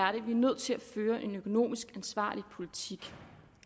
er nødt til at føre en økonomisk ansvarlig politik